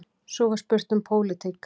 Svo var spurt um pólitík.